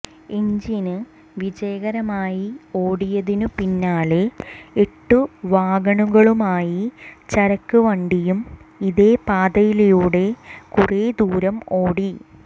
engine വിജയകരമായി ഓടിയതിനു പിന്നാലെ എട്ട് വാഗണുകളുമായി ചരക്ക് വണ്ടിയും ഇതേ പാതയിലൂടെ കുറെ ദൂരം ഓടി